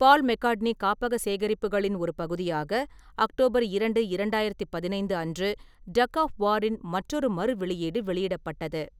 பால் McCartney காப்பக சேகரிப்புகளின் ஒரு பகுதியாக, அக்டோபர் இரண்டு, இரண்டாயிரத்து பதினைந்து அன்று டக் ஆஃப் வார் இன் மற்றொரு மறுவெளியீடு வெளியிடப்பட்டது.